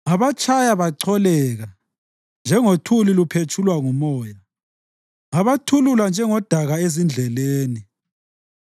Ngabatshaya bacholeka njengothuli luphetshulwa ngumoya; ngabathulula njengodaka ezindleleni.